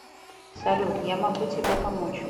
салют я могу тебе помочь